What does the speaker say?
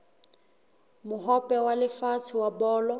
mohope wa lefatshe wa bolo